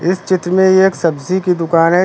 इस चित्र में एक सब्जी की दुकान है।